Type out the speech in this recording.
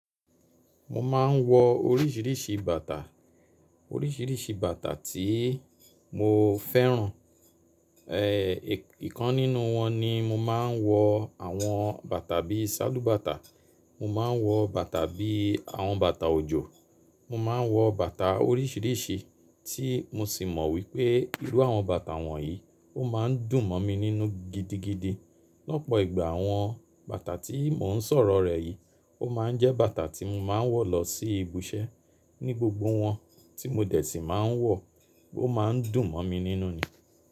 Mo máa ń wọ oríṣiríṣi bàtà, oríṣiríṣi bàtà tí mo fẹ́ràn. E, ìkan nínú wọn ni mo máa ń wọ àwọn bàtà bí i ṣálúbàtà, mo máa ń wọ bàtà bí i àwọn bàtà òjò, mo máa ń wọ bàtà oríṣiríṣi tí mo sì mọ̀ wípé irú àwọn bàtà wọ̀nyí ó máa ń dùn mọ̀ mi nínú gidigidi. Lọ́pọ̀ ìgbà àwọn bàtà tí mò ń sọ̀rọ̀ rẹ̀ yìí ó máa ń jẹ́ bàtà tí mo máa ń wọ̀ lọ sí ibi iṣẹ́ ní gbogbo wọn tí mo dẹ̀ tíì máa ń wọ̀ ó máa ń dùn mọ̀ mi nínú ni.